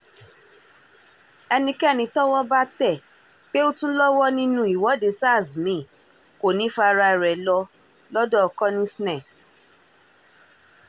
ẹnikẹ́ni tọ́wọ́ bá tẹ̀ pé ó tún lọ́wọ́ nínú ìwọ́de sars mi-ín kò ní í faraà rẹ̀ lọ lọ́dọ̀-konisne